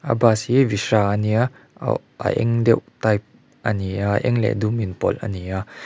a bus hi visha ania a a eng deuh type ani a a eng leh dum in pawlh ani a.